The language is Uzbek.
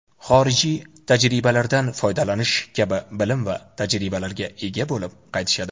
xorijiy tajribalardan foydalanish kabi bilim va tajribalarga ega bo‘lib qaytishadi.